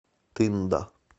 тында